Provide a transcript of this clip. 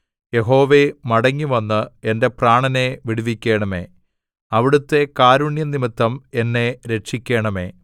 യഹോവേ മടങ്ങിവന്ന് എന്റെ പ്രാണനെ വിടുവിക്കണമേ അവിടുത്തെ കാരുണ്യം നിമിത്തം എന്നെ രക്ഷിക്കണമേ